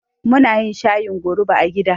Munayin shayin goruba a gida